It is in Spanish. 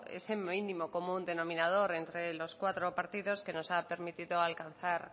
ese mínimo común denominador entre los cuatro partidos que nos ha permitido alcanzar